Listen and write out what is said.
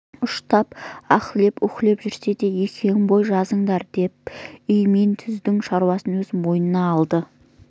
ұштап аһлап үһлеп жүрсе де екеуің бой жазыңдар деп үй мен түздің шаруасын өз мойнына алған